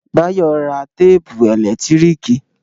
Báyọ̀ rà téèpù ẹ̀lẹ́tíríkì